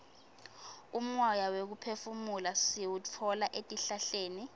umoya wekuphefumula siwutfola etihlahleni